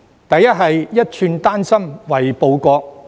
第一，是"一寸丹心為報國"。